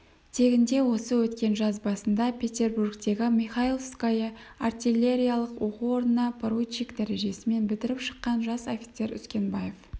тегінде осы өткен жаз басында петербургтегі михайловское артиллериялық оқу орнына поручик дәрежесімен бітіріп шыққан жас офицер үскенбаев